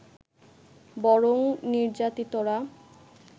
বরং নির্যাতিতরা